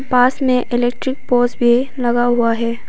पास में electric poles भी लगा हुआ हैं।